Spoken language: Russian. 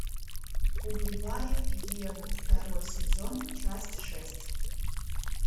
убивая еву второй сезон часть шесть